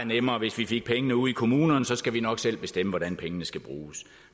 nemmere hvis vi fik pengene ude i kommunerne så skal vi nok selv bestemme hvordan pengene skal bruges